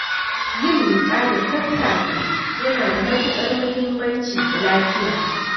Yin miƙa da sassafe yana da matukar muhimmanci ga lafiya.